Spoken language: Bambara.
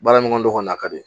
Baara ɲɔgɔn do kɔni a ka di